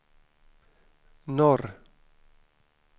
norr